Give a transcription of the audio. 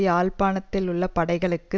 யாழ்ப்பாணத்தில் உள்ள படைகளுக்கு